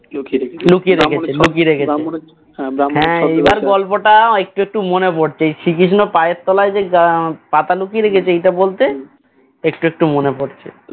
গল্পটা একটু একটু মনে পড়ছে এই শ্রীকৃষ্ণ পায়ের তলায় যে পাতা লুকিয়ে রেখেছে এটা বলতে একটু একটু মনে পড়ছে